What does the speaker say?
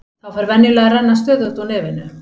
Þá fer venjulega að renna stöðugt úr nefinu.